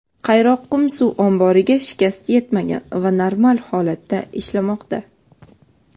Qayroqqum suv omboriga shikast yetmagan va normal holatda ishlamoqda.